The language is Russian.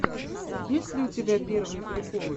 есть ли у тебя первые приколы